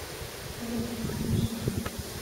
салют несмешно